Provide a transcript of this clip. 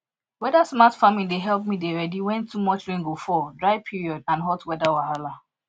weathersmart farming dey help me dey ready when too much rain go fall dry period and hot weather wahala